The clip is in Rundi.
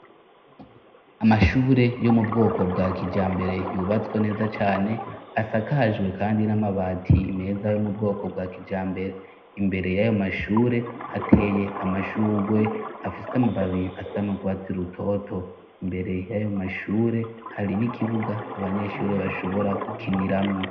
Amashure yo mu bwoko bwa kijambere yubatswe neza cane, asakajwe kandi n'amabati meza yo mu bwoko bwa kijambere. Imbere y'ayo mashure hateye amashugwe afise amababi asa n'urwatsi rutoto. Imbere y'ayo mashure, hari n'ikibuga abanyeshuri bashobora gukiniramwo.